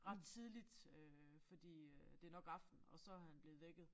Ret tidligt øh fordi øh det nok aften og så han blevet vækket